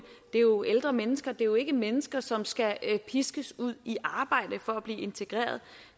det er jo ældre mennesker det er ikke mennesker som skal piskes ud i arbejde for at blive integreret